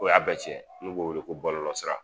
O y'a bɛɛ cɛn n'u b'o weele ko bɔlɔsira